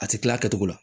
A ti kila a kɛcogo la